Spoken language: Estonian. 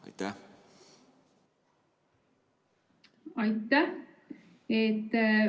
Aitäh!